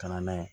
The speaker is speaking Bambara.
Ka na n'a ye